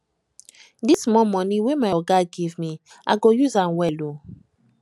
dis small moni wey my oga give me i go use am well o